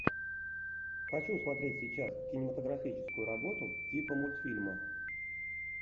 хочу смотреть сейчас кинематографическую работу типа мультфильма